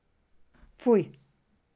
Fuj!